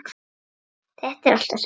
Þetta er allt og sumt